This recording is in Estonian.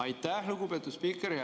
Aitäh, lugupeetud spiiker!